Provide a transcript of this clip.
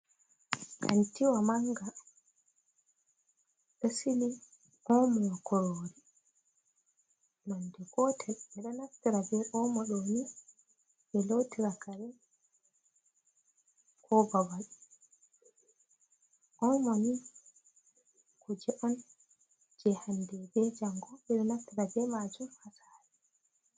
Kantiwa manga, ɗo Sili omo kurori nonde gotel ɓe ɗo naftira be Omo ɗoni ɓe lotira kare ko babal. Omoni kuje'on je hande be jango be ɗo naftirta be majum ha Sare.